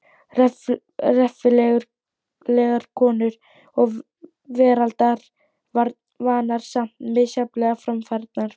Reffilegar konur og veraldarvanar, samt misjafnlega framfærnar.